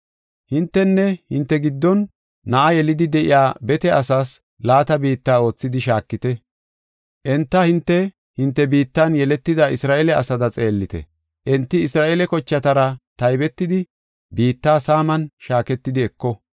Hintenne hinte giddon na7a yelidi de7iya bete asaas laata biitta oothidi shaakite. Enta hinte, hinte biittan yeletida Isra7eele asada xeellite. Enti Isra7eele kochatara taybetidi biitta saaman shaaketidi eko.